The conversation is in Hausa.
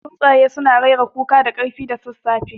Tsuntsaye suna rera kuka da ƙarfi da sassafe.